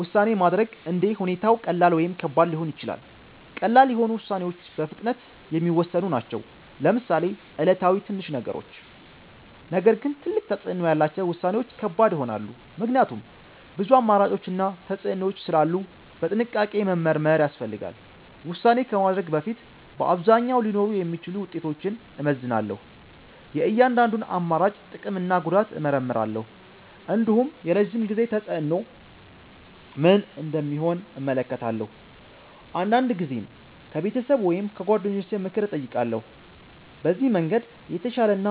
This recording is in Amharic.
ውሳኔ ማድረግ እንደ ሁኔታው ቀላል ወይም ከባድ ሊሆን ይችላል። ቀላል የሆኑ ውሳኔዎች በፍጥነት የሚወሰኑ ናቸው፣ ለምሳሌ ዕለታዊ ትንሽ ነገሮች። ነገር ግን ትልቅ ተፅዕኖ ያላቸው ውሳኔዎች ከባድ ይሆናሉ፣ ምክንያቱም ብዙ አማራጮች እና ተፅዕኖዎች ስላሉ በጥንቃቄ መመርመር ያስፈልጋል። ውሳኔ ከማድረግ በፊት በአብዛኛው ሊኖሩ የሚችሉ ውጤቶችን እመዝናለሁ። የእያንዳንዱን አማራጭ ጥቅም እና ጉዳት እመርምራለሁ። እንዲሁም የረዥም ጊዜ ተፅዕኖ ምን እንደሚሆን እመለከታለሁ። አንዳንድ ጊዜም ከቤተሰብ ወይም ከጓደኞች ምክር እጠይቃለሁ። በዚህ መንገድ የተሻለ እና